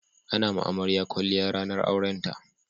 A na ma amarya kwalliya ranar aurenta